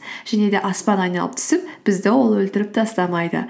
және де аспан айналып түсіп бізді ол өлтіріп тастамайды